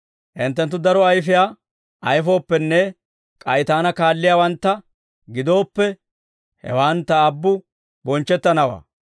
Hinttenttu daro ayfiyaa ayfooppenne k'ay Taana kaalliyaawantta gidooppe, hewan Ta Aabbu bonchchettanawaa.